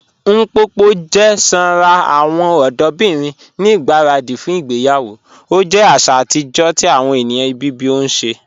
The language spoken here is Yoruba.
Mpopo jẹ sànra awọn ọdọbirin ni igbaradi fún ìgbèyawo, o jẹ àṣà atijọ̀ ti awọn ènìyàn Ibibio ṣẹ.